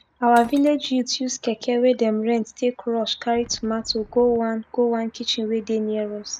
our village youth use keke wey dem rent take rush carry tomato go one go one kitchen wey dey near us